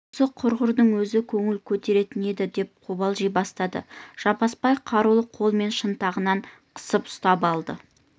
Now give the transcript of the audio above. осы құрғырдың өзі көңіл көтеретін еді деп қобалжи бастады жаппасбай қарулы қолымен шынтағынан қысып ұстап алды